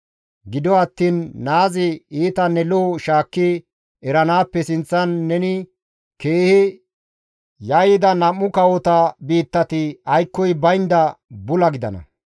Gido attiin naazi iitanne lo7o shaakki eranaappe sinththan neni keehi yayyida nam7u kawota biittati aykkoy baynda bula gidana.